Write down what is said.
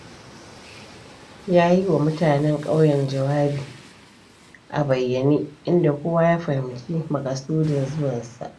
Ya yi wa mutanen ƙauyen jawabi a bayyane, inda kowa ya fahimci maƙasudun zuwansa.